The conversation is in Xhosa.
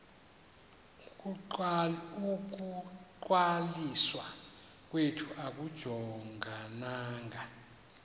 ukungcwaliswa kwethu akujongananga